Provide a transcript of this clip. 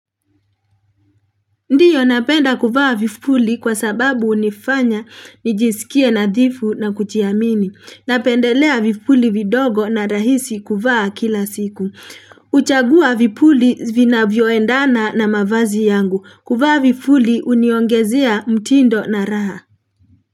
Ndiyo napenda kuvaa vipuli kwa sababu unifanya nijisikia nadhifu na kujiamini. Napendelea vipuli vidogo na rahisi kuvaa kila siku. Uchagua vipuli vinavyoendana na mavazi yangu. Kuvaa vipuli uniongezea mtindo na raha.